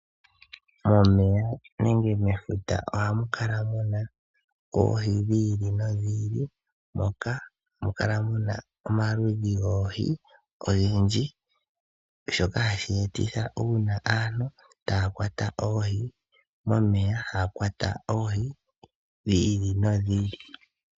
Momeya nenge mefuta ohamu kala mu na oohi dhi ili nodhi ili, moka hamu kala mu na omaludhi goohi ogendji, shoka hashi etitha uuna aantu taya kwata oohi momeya ya kwate oohi dhi ili nodhi ili.